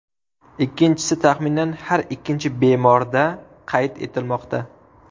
Ikkinchisi taxminan har ikkinchi bemorda qayd etilmoqda.